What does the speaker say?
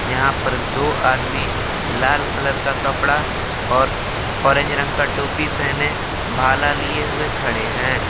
यहां पर दो आदमी लाल कलर का कपड़ा और ऑरेंज रंग का टोपी पहने भाला लिए हुए खड़े हैं।